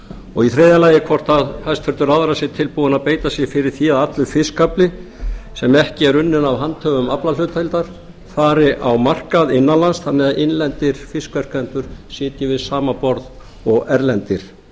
og í þriðja lagi hvort hæstvirtur ráðherra sé tilbúinn að beita sér fyrir því að allur fiskafli sem ekki er unninn af handhöfum aflahlutdeildar fari á markað innanlands þannig að innlendir fiskflytjendur sitji við sama borð og erlendir